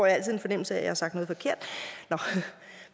altid en fornemmelse af at jeg har sagt noget forkert nå